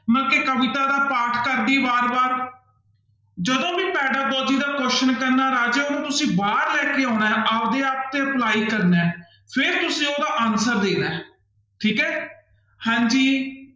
ਕਵਿਤਾ ਦਾ ਪਾਠ ਕਰਦੀ ਹੈ ਬਾਰ ਬਾਰ ਜਦੋਂ ਵੀ pedagogy ਦਾ question ਪੈਂਦਾ ਰਾਜੇ ਉਹਨੂੰ ਤੁਸੀਂ ਬਾਹਰ ਲੈ ਕੇ ਆਉਣਾ ਹੈ ਆਪਦੇ ਆਪ ਤੇ ਅਪਲਾਈ ਕਰਨਾ ਹੈ ਫਿਰ ਤੁਸੀਂ ਉਹਦਾ answer ਦੇਣਾ ਹੈ ਠੀਕ ਹੈ ਹਾਂਜੀ।